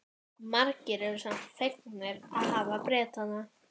Margir eru samt fegnir að hafa Bretana.